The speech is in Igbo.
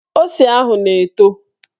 Ose ahụ na-eto